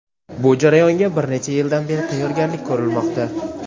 Bu jarayonga bir necha yildan beri tayyorgarlik ko‘rilmoqda.